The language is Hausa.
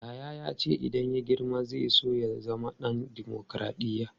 Yahaya ya ce idan ya girma zai so ya zama ɗan dimokradiyya.